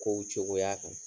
Kow cogoya